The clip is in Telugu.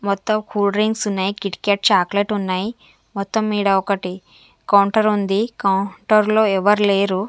మొత్తం కూడ్ డ్రింక్స్ ఉన్నాయి కిట్ కాట్ చాక్లెట్ ఉన్నాయి మొత్తం ఈడ ఒకటి కౌంటర్ ఉంది కౌంటర్ లో ఎవరు లేరు.